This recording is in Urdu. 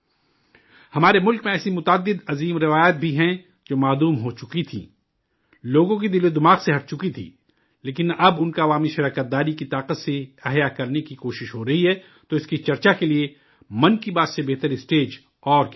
ہمارے ملک میں ایسی متعدد عظیم روایات بھی ہیں، جو غائب ہو چکی تھیں، لوگوں کے ذہن و دماغ سے ہٹ چکی تھیں، لیکن اب انہیں عوامی حصہ داری کی طاقت سے دوبارہ زندہ کرنے کی کوشش ہو رہی ہے تو اس کی چرچہ کے لیے 'من کی بات' سے بہتر پلیٹ فارم اور کیا ہوگا؟